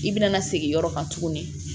I bɛna segin yɔrɔ kan tuguni